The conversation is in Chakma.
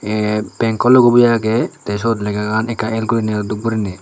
aye bankko logoboyo agey tey syot legagan ekka el guriney dup guriney.